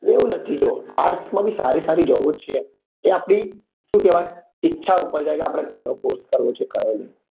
એવું નથી જો arts માં બી સારી સારી job છે એ આપડી શું કેવાય ઈચ્છા ઉપર જાય કે આપડે કયો corse કરવો છે કયો નહિ